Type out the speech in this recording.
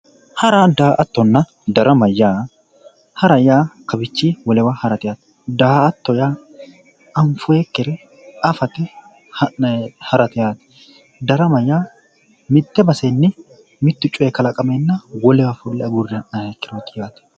Hara daa"attona darama yaa hara yaa kawiichinni wolewa hara yaate daa"atto yaa anfoyikkire afate harate yaate darama yaa mitte basenni mittu coyi kalaqameenna fulle agurre ha'nayrichooti yaate